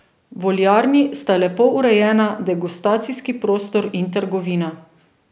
V oljarni sta lepo urejena degustacijski prostor in trgovina.